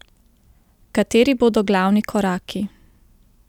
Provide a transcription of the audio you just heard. Kateri bodo glavni koraki?